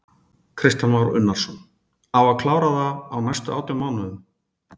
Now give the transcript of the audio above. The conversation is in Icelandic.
Kristján Már Unnarsson: Á að klára það á næstu átján mánuðum?